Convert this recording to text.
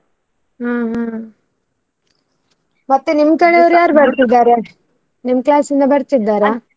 ಹ್ಮ್ ಹ್ಮ್. ನಿಮ್ಮ ಕಡೆ ಬರ್ತಿದ್ದಾರೆ ನಿಮ್ class ಇಂದ ಬರ್ತಿದ್ದಾರಾ?